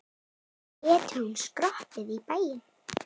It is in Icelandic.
Getur hún skroppið í bæinn?